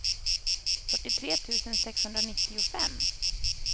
fyrtiotre tusen sexhundranittiofem